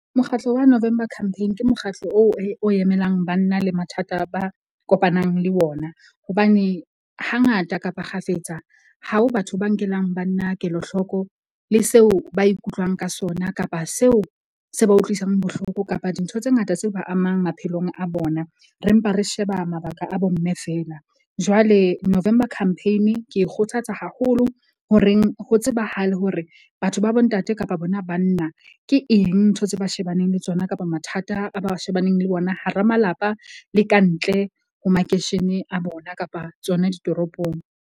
Mokgatlo wa November Campaign ke mokgatlo oo o emelang banna le mathata, ba kopanang le wona. Hobane hangata kapa kgafetsa ha ho batho ba nkelang banna kelahloko le seo ba ikutlwang ka sona kapa seo se ba utlwisang bohloko kapa dintho tse ngata tse ba amang maphelong a bona. Re mpa re sheba mabaka a bo mme feela. Jwale November Campaign ke e kgothatsa haholo ho reng ho tsebahale hore batho ba bo ntate kapa bona banna, ke eng ntho tseo ba shebaneng le tsona, kapa mathata a ba shebaneng le ona, hara malapa le ka ntle ho makeishene a bona kapa tsona ditoropong.